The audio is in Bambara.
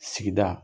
Sigida